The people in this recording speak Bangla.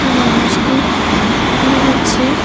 একটি মানুষকে লক্ষ্য করা যাচ্ছে।